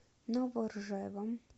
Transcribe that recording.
новоржевом